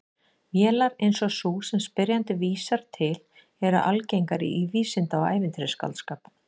Vélar eins og sú sem spyrjandi vísar til eru algengar í vísinda- og ævintýraskáldskap.